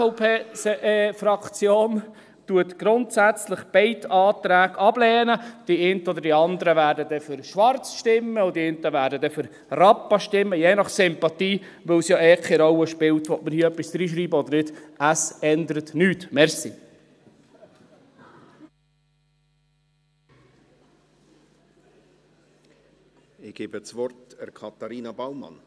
Die SVP-Fraktion lehnt grundsätzlich beide Anträge ab, die einen oder anderen werden dann für «Schwarz» stimmen und die anderen werden für «Rappa» stimmen, je nach Sympathie, weil es ja eh keine Rolle spielt, ob man hier etwas hineinschreiben will oder nicht.